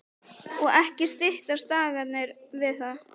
Og ekki styttust dagarnir við það.